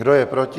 Kdo je proti?